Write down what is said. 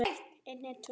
Þessi maður var Róbert.